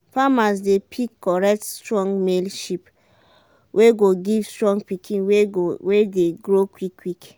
farmers dey pick correct strong male sheep wey go give strong pikin wey dey grow quick quick.